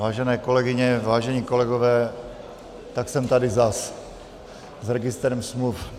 Vážené kolegyně, vážení kolegové, tak jsem tady zas s registrem smluv.